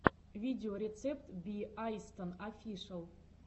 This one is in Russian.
видеорецепт би айстон офишэл